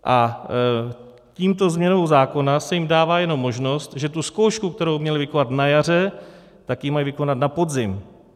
A touto změnou zákona se jim dává jenom možnost, že tu zkoušku, kterou měli vykonat na jaře, tak ji mají vykonat na podzim.